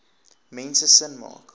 mense sin maak